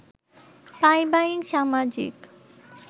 পারিবারিক সামাজিক